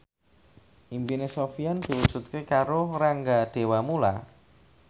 impine Sofyan diwujudke karo Rangga Dewamoela